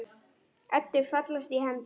Eddu fallast hendur.